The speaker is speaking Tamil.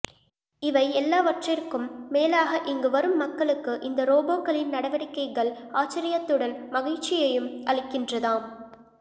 இவை எல்லாவற்றிற்கும் மேலாக இங்கு வரும் மக்களுக்கு இந்த ரோபோக்களின் நடவடிக்கைகள் ஆச்சரியத்துடன் மகிழ்ச்சியையும் அளிக்கின்றதாம்